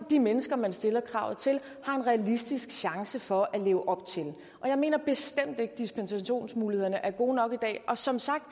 de mennesker man stiller kravet til har en realistisk chance for at leve op til jeg mener bestemt ikke dispensationsmulighederne er gode nok i dag og som sagt